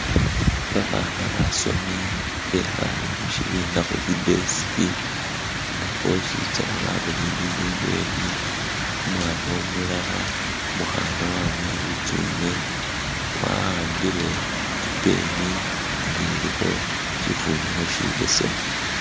Babana basomi bekhale mushibina khuzi desk nga bwosizana balolelele ibweni umwana umulala umukhana wabuwa litsune wahambile i'pen nga ilikho shifunikho shibesemu.